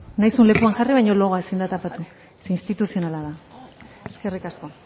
nahi duzun lekuan jarri baino logoa ezin da tapatu zeren instituzionala da eskerrik asko